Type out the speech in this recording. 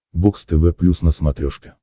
бокс тв плюс на смотрешке